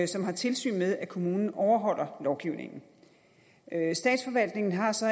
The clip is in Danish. som har tilsyn med at kommunen overholder lovgivningen statsforvaltningen har så